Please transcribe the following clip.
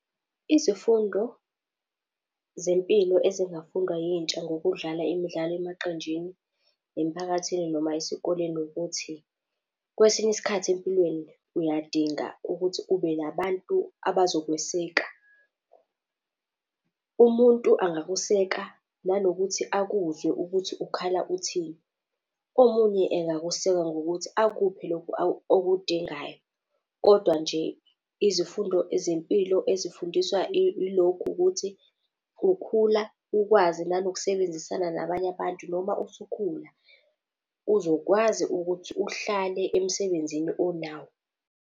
Izifundo zempilo ezingafundwa yintsha ngokudlala imidlalo emaqenjini, emphakathini noma esikoleni ukuthi kwesinye isikhathi empilweni uyadinga ukuthi ube nabantu abazokweseka. Umuntu angakuseka, nanokuthi akuzwe ukuthi ukhala uthini. Omunye engakuseka ngokuthi akuphe lokhu okudingayo. Kodwa nje izifundo zempilo ezifundiswa ilokhu ukuthi ukhula ukwazi nanokusebenzisana nabanye abantu, noma usukhula uzokwazi ukuthi uhlale emsebenzini onawo.